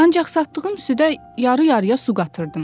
Ancaq satdığım südə yarı-yarıya su qatırdım.